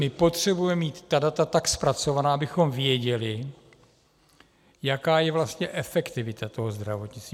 My potřebujeme mít ta data tak zpracovaná, abychom věděli, jaká je vlastně efektivita tohoto zdravotnictví.